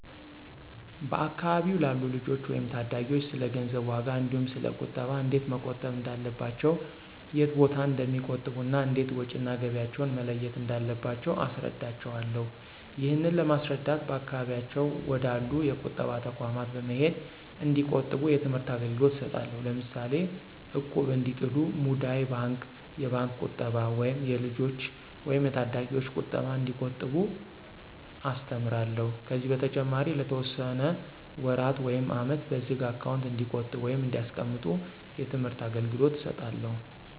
በአካባቢው ላሉ ልጆች ወይም ታዳጊዎች ስለገንዘብ ዋጋ እንዲሁ ስለ ቁጠባ እንዴት መቆጠብ እንዳለባቸው የት ቦታ እንደሚቆጥቡ እና እንዴት ወጭ እና ገቢያቸውን መለየት እንዳለባቸው አስረዳቸውአለሁ። ይህንን ለማስረዳት በአካባቢያቸው ወደ አሉ የቁጠባ ተቋማት በመሄድ እንዲቆጥቡ የትምህርት አገልግሎት እሰጣለሁ። ለምሳሌ እቁብ እንዲጥሉ፣ ሙዳይ ባንክ፣ የባንክ ቁጠባ ወይም የልጆች ወይም የታዳጊዎች ቁጠባ እንዲቆጥቡ አስተምራለሁ። ከዚህ በተጨማሪ ለተወሰነ ወራት ውይም አመት በዝግ አካውንት እንዲቆጥቡ ወይም እንዲያስቀምጡ የትምህርት አገልገሎት እሰጣለሁ።